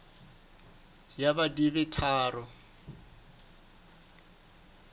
ya b di be tharo